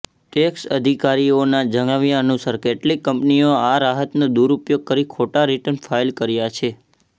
tax અધિકારીઓના જણાવ્યા અનુસાર કેટલીક કંપનીઓ આ રાહતનો દુરુપયોગ કરી ખોટા રિટર્ન ફાઇલ કર્યા છે